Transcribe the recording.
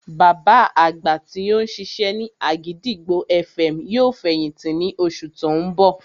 Bàbá àgbà tí ó ń ṣiṣẹ́ ní àgìdìgbò FM yóò fẹ̀yìntì ní oṣù tí ó ń bọ̀